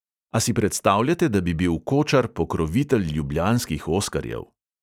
A si predstavljate, da bi bil kočar pokrovitelj ljubljanskih oskarjev?